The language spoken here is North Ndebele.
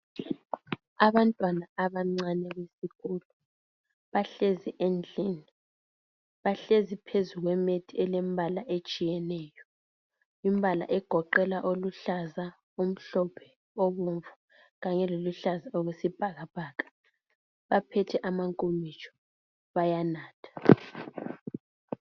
Abantwana abancane besikolo bahlezi endlini bahlezi phezu kwe "mat" elembala etshiyeneyo imbala egoqela oluhlaza, omhlophe, obomvu kanye loluhlaza okwesibhakabhaka baphethe amankomitsho bayanatha.